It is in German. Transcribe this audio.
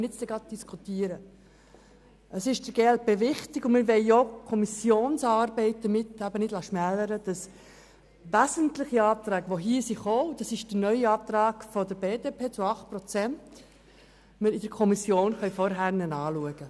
Der glp ist es wichtig – und wir möchten die Kommissionsarbeit nicht abwerten –, dass wesentliche der hier gestellten Anträge, unter anderem jener der glp betreffend die Kürzung um 8 Prozent, von der Kommission vorher angeschaut werden können.